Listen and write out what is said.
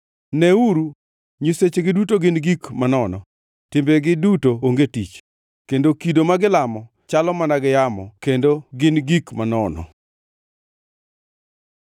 Neuru, nyisechegi duto gin gik manono! Timbegi duto onge tich, kendo kido ma gilamo chalo mana gi yamo kendo gin gik manono.”